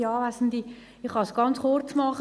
Ich kann es ganz kurz machen: